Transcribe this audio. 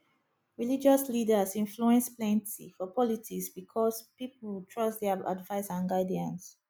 religious leaders influence plenti for politics because pipol trust dia advice and guidance